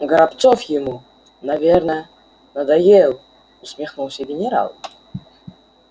горобцов ему наверно надоел усмехнулся генерал